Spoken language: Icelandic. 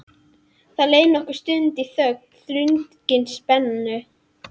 Það leið nokkur stund í þögn, þrungin spennu.